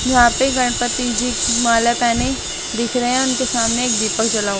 यहां पे गणपति जी हुमाले पहनी दिख रहे हैं उनके सामने एक दीपक जला हुआ--